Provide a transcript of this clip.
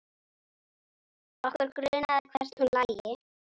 Okkur grunaði hvert hún lægi.